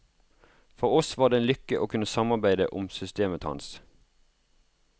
For oss var det en lykke å kunne samarbeide om systemet hans.